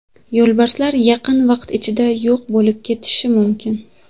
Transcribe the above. Yo‘lbarslar yaqin vaqt ichida yo‘q bo‘lib ketishi mumkin.